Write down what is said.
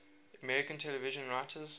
american television writers